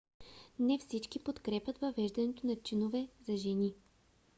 не всички подкрепят въвеждането на чинове за жени